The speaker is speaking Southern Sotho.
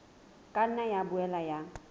ka nna ya boela ya